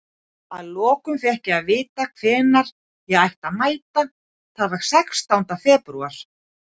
Að lokum fékk ég að vita hvenær ég ætti að mæta, það var sextánda febrúar.